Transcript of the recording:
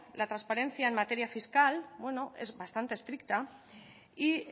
la transparencia en materia fiscal bueno es bastante estricta y